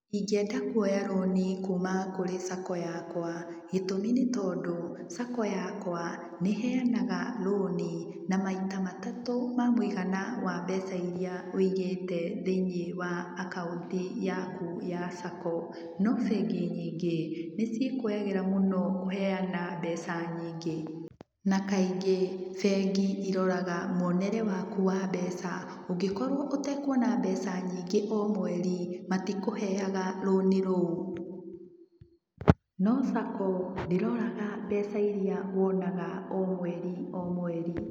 Ingienda kuoya rũni kuma kũrĩ SACCO yakwa gĩtũmi nĩ tondũ SACCO yakwa nĩiheanga rũni na maita matatu ma muigana wa mbeca iria wĩigĩte thĩini wa akaunti yaku ya SACCO no bengi nyingĩ nĩciĩkũagĩra mũno kũheana mbeca nyingĩ na kaingĩ bengi ciroraga mwonere waku wa mbeca. Ũngikorwo ũtekuona mbeca nyingĩ o mweri matikũheaga rũni rũu. No SACCO ndĩroraga mbeca iria wonaga o mweri o mweri.